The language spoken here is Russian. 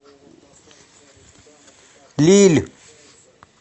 лилль